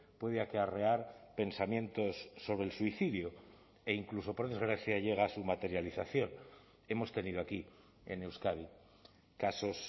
puede acarrear pensamientos sobre el suicidio e incluso por desgracia llega a su materialización hemos tenido aquí en euskadi casos